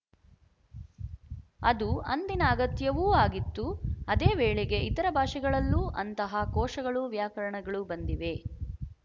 ಅದು ಅಂದಿನ ಅಗತ್ಯವೂ ಆಗಿತ್ತು ಅದೇ ವೇಳೆಗೆ ಇತರ ಭಾಷೆಗಳಲ್ಲೂ ಅಂತಹಾ ಕೋಶಗಳು ವ್ಯಾಕರಣಗಳು ಬಂದಿವೆ